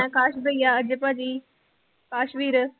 ਅਕਾਸ ਭਈਆ ਅਜੇ ਭਾਜੀ, ਅਕਾਸ ਵੀਰ